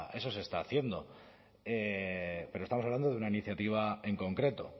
eso se está haciendo pero estamos hablando de una iniciativa en concreto